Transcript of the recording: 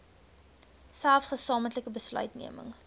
selfs gesamentlike besluitneming